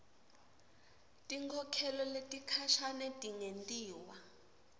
tinkhokhelo tesikhashane tingentiwa